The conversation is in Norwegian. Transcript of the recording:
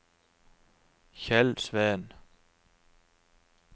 Kjell Sveen